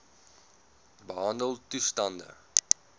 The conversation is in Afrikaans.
behandeltoestande